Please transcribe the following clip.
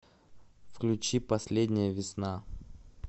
включи последняя весна